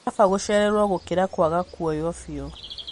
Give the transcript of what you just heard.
Nĩ kaba gũcererwo gũkĩra kwaga kuoywo biũ